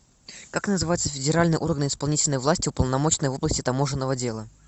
как называется федеральный орган исполнительной власти уполномоченный в области таможенного дела